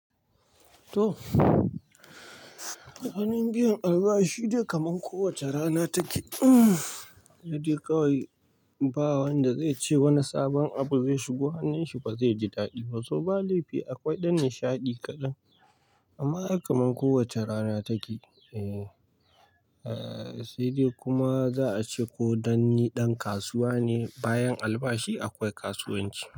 Toh, ranar biyan albashi dai kamar kowace rana take. Sai dai kawai ba wanda zai ce wani sabon abu zai shigo, hannun shi ba zai ji daɗi ba saboda laifi akwai ɗan nishaɗi kaɗan. Amma kaman kowace rana take. Sai dai kuma za'a ce ko dan ni ɗan kasuwa ne, bayan albashi akwai kasuwanci.